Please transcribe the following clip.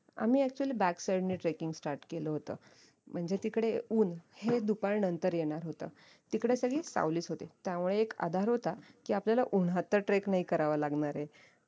आम्ही actually back side नी trekking start केलं होत म्हणजे तिकडे ऊन हे दुपार नंतर येणार होत तिकडे सगळी सावलीच होती त्यामुळे एक आधार होता की आपल्याला उन्हात तर trek नाही करावं लागणारे